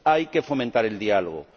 Hay que fomentar el diálogo.